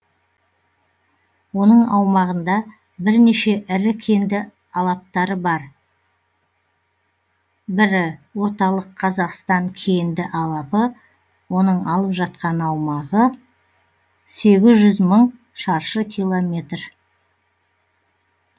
оның аумағында бірнеше ірі кенді алаптары бар бірі орталық қазақстан кенді алапы оның алып жатқан аумағы сегіз жүз мың шаршы километр